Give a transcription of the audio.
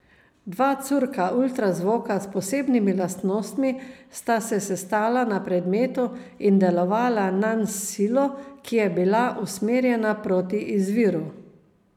Dva curka ultrazvoka s posebnimi lastnostmi sta se sestala na predmetu in delovala nanj s silo, ki je bila usmerjena proti izviru.